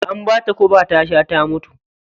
An bata guba ta sha ta mutu.